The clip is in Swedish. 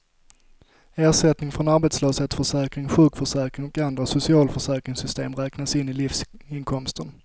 Ersättning från arbetslöshetsförsäkring, sjukförsäkring och andra socialförsäkringssystem räknas in i livsinkomsten.